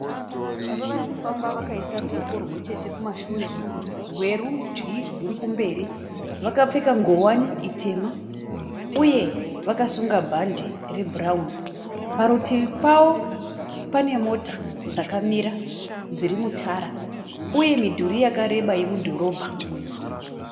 Baba vari kufamba vakaisa ruoko rumwe chete kumashure. Rwerudyi ruri kumberi. Vakapfeka ngowani itema uye vakasunga bhande rebhurauni. Parutivi pavo pane mota dzakamira dziri mutara uye midhuri yakareba yemudhorobha.